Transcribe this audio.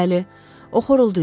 Bəli, o xoruldayırdı.